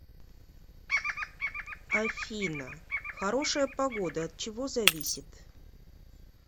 афина хорошая погода от чего зависит